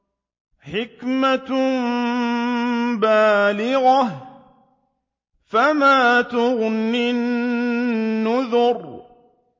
حِكْمَةٌ بَالِغَةٌ ۖ فَمَا تُغْنِ النُّذُرُ